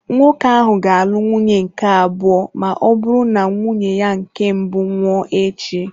Nwoke ahụ ga-alụ nwunye nke abụọ ma ọ bụrụ na nwunye ya nke mbụ nwụọ echi.